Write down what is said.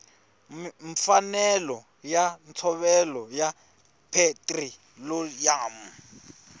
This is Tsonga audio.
mfanelo ya ntshovelo ya petiroliyamu